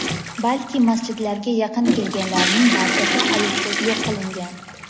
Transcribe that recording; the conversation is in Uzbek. balki masjidlarga yaqin kelganlarning barchasi ayovsiz yo‘q qilingan.